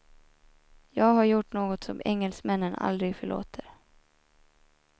Jag har gjort något som engelsmännen aldrig förlåter.